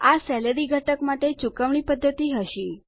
આ સેલેરી ઘટક માટે ચુકવણી પદ્ધતિ હશે